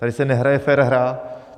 Tady se nehraje fér hra.